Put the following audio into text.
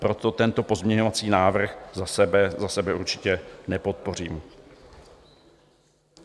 Proto tento pozměňovací návrh za sebe určitě nepodpořím.